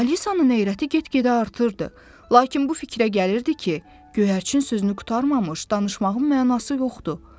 Alisanın narahatı get-gedə artırdı, lakin bu fikrə gəlirdi ki, göyərçin sözünü qurtarmamış, danışmağın mənası yoxdur.